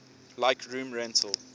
like room rental